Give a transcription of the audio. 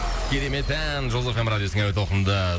керемет ән жұлдыз эф эм радиосының әуе толқынында